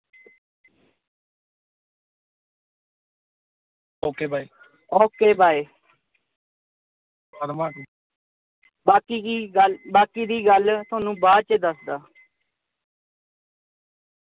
ok bye ok bye ਬਾਕੀ ਦੀ ਗੱਲ ਅਹ ਬਾਕੀ ਦੀ ਗੱਲ ਤੁਹਾਨੂੰ ਬਾਅਦ ਚ ਦੱਸਦਾ।